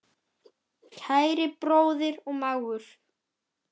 Kæri bróðir og mágur.